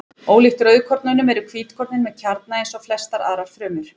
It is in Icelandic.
Ólíkt rauðkornunum eru hvítkornin með kjarna eins og flestar aðrar frumur.